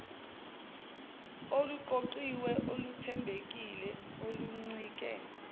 oluqoqiwe oluthembekile oluncike